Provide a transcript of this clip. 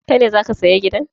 Kai ne za ka saya gidan?